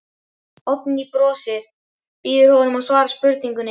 Oddný brosir, býður honum að svara spurningunni.